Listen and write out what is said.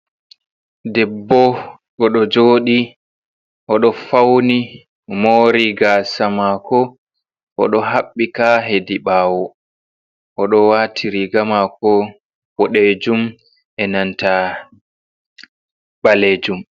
Debbo oɗo joɗi, oɗo fauni, mori gasa mako, oɗo haɓɓi ka hedi ɓawo, oɗo wati riga mako boɗejum e nanta ɓalejum.